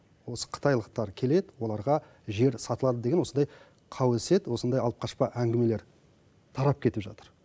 осы қытайлықтар келеді оларға жер сатылады деген осындай қауесет осындай алып қашпа әңгімелер тарап кетіп жатыр